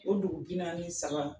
O dugu binaani ni saba.